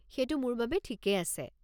সেইটো মোৰ বাবে ঠিকেই আছে।